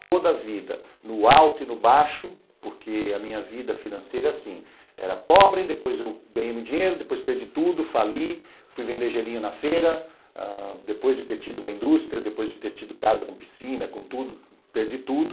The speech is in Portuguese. Toda a vida, no alto e no baixo, porque a minha vida financeira, assim, era pobre, depois eu ganhei dinheiro, depois perdi tudo, fali, fui vender gelinho na feira, depois de ter tido uma indústria, depois de ter tido casa com piscina, com tudo, perdi tudo.